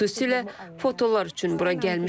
Xüsusilə fotolar üçün bura gəlmişəm.